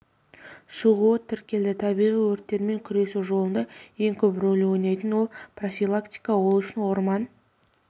шығуы тіркелді табиғи өрттермен күресу жолында ең көп рөл ойнайтын ол профилактика ол үшін орман